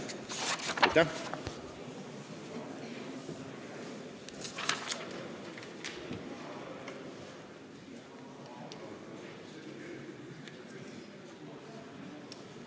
Aitäh!